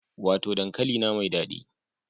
Wato dankalina mai dadi